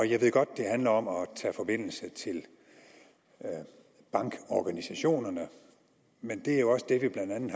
jeg ved godt det handler om at tage forbindelse til bankorganisationerne men det er jo også det vi blandt andet